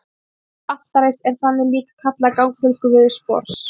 Að ganga til altaris er þannig líka kallað að ganga til Guðs borðs.